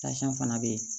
fana bɛ yen